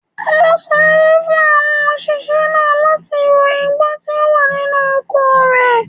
Ó sanwó fún àwọn òṣìṣẹ́ náà láti ro igbó tí ó wà nínú oko rẹ̀.